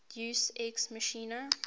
deus ex machina